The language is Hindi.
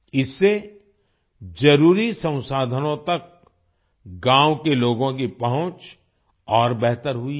इससे जरुरी संसाधनों तक गाँव के लोगों की पहुँच और बेहतर हुई है